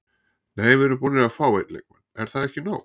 Nei við erum búnir að fá einn leikmann, er það ekki nóg?